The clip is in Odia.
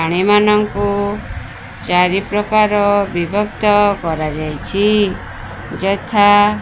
ପ୍ରାଣୀମାନଙ୍କୁ ଚାରିପ୍ରକାର ବିଭକ୍ତ କରାଯାଇଛି ଯଥା --